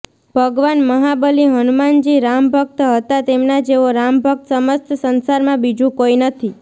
ભગવાન મહાબલી હનુમાનજી રામભક્ત હતા તેમના જેવો રામભક્ત સમસ્ત સંસાર મા બીજું કોઈ નથી